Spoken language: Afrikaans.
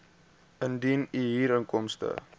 indien u huurinkomste